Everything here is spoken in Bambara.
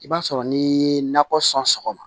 I b'a sɔrɔ n'i ye nakɔ sɔn sɔgɔma